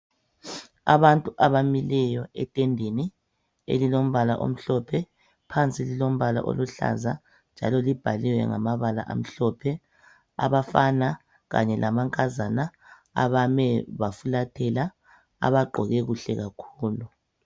Abantu abamileyo etendeni elilombala omhlophe phansi lilombala oluhlaza njalo libhalwe ngamabala amhlophe , abafana kanye lamankazana abame bafulathela abagqoke kuhle kakhulu